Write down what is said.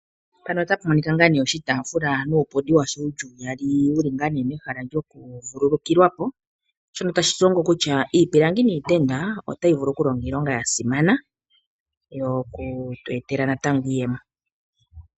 pano ota pumonika nga ne oshitafula nuupundi washo wuli uyaali wuli nga ne mehala lyawo lyoku vululukilwapo, shono tashi tulongo kutya iipilangi niitenda otayi vulu okulonga iilonga yasimana yoku twetela natango iiyemo.